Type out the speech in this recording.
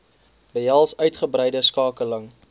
behels uitgebreide skakeling